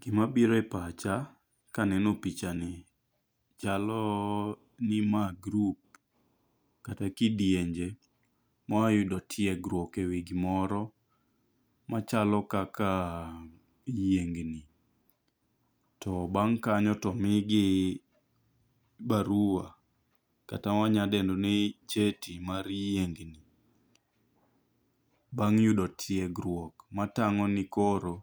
Gima biro e pacha kaneno picha ni chalo ni ma group kata kidienje moa yudo tiegruok e gimoro machalo kaka yiengni. To bang' kanyo to omigi barua kata wanyadendo ni cheti mar yiengni. Bang' yudo tiegruok matang'o ni koro